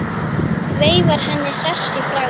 Veifar henni hress í bragði.